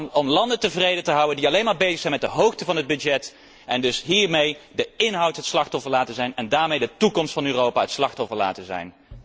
Allemaal om landen tevreden te houden die alleen maar bezig zijn met de hoogte van het budget, en dus hiermee de inhoud het slachtoffer laten zijn, en daarmee de toekomst van Europa het slachtoffer laten zijn.